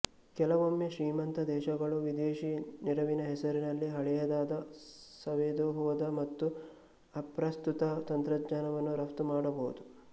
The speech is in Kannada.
ಕೆಲವೊಮ್ಮೆ ಶ್ರೀಮಂತ ದೇಶಗಳು ವಿದೇಶಿ ನೆರವಿನ ಹೆಸರಿನಲ್ಲಿ ಹಳೆಯದಾದ ಸವೆದು ಹೋದ ಮತ್ತು ಅಪ್ರಸ್ತುತ ತಂತ್ರಜ್ಞಾನವನ್ನು ರಪ್ತು ಮಾಡಬಹುದು